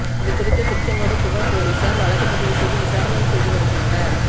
இதுகுறித்து திருச்செங்கோடு புகா் போலீஸாா் வழக்குப் பதிவு செய்து விசாரணை செய்து வருகின்றனா்